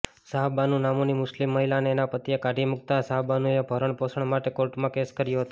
શાહબાનુ નામની મુસ્લિમ મહિલાને એના પતિએ કાઢી મૂકતાં શાહબાનુએ ભરણપોષણ માટે કોર્ટમાં કેસ કર્યો હતો